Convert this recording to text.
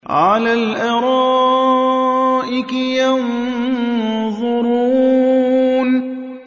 عَلَى الْأَرَائِكِ يَنظُرُونَ